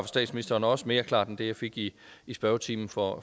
statsministeren og også mere klart end det jeg fik i i spørgetimen for